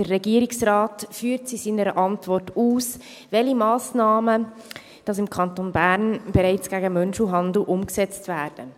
Der Regierungsrat führt in seiner Antwort aus, welche Massnahmen gegen Menschenhandel im Kanton Bern bereits umgesetzt werden.